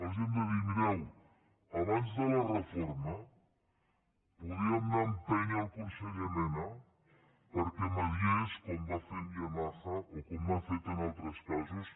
els hem de dir mireu abans de la reforma podíem anar a empènyer el conseller mena perquè mitjancés com va fer amb yamaha o com ha fet en altres casos